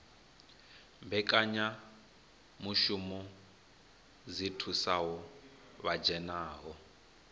mbekanyamushumo dzi thusaho vha dzhenaho